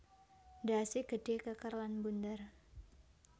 Ndhase gedhe keker lan mbunder